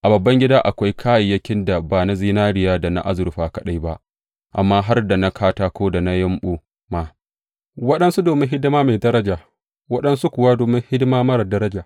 A babban gida akwai kayayyakin da ba na zinariya da na azurfa kaɗai ba, amma har da na katako da na yumɓu ma; waɗansu domin hidima mai daraja waɗansu kuwa domin hidima marar daraja.